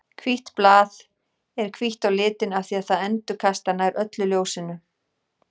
Hvítt blað er hvítt á litinn af því að það endurkastar nær öllu ljósinu.